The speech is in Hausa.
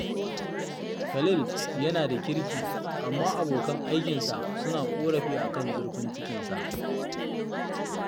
Khalil yana da kirki, amma abokan aikinsa suna ƙorafi a kan zurfin cikinsa